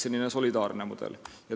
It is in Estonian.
See on solidaarne mudel.